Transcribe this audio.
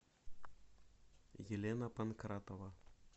елена панкратова